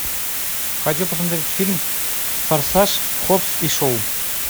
хочу посмотреть фильм форсаж хоббс и шоу